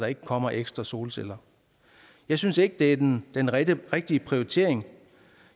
ikke kommer ekstra solceller jeg synes ikke det er den den rigtige rigtige prioritering